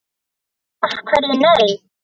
Af hverju nei?